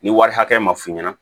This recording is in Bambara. Ni wari hakɛ ma f'i ɲɛna